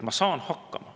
Ma saan hakkama.